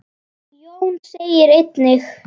Jón segir einnig